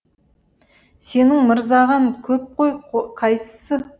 сенің мырзағаң көп қой қайсысы